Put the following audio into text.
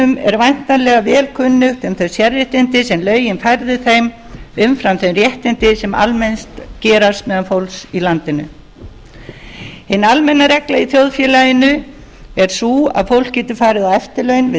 vætnalega vel kunnugt um þau sérréttindi sem lögin færðu þeim umfram þau réttindi sem almennt gerast meðal fólks í landinu hin almenna regla í þjóðfélaginu er sú að fólk getur farið á eftirlaun við